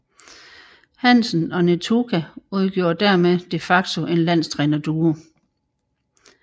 Hansen og Netuka udgjorde dermed de facto en landstrænerduo